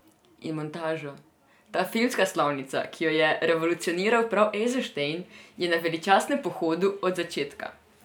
In montaža, ta filmska slovnica, ki jo je revolucioniral prav Ejzenštejn, je na veličastnem pohodu od začetka.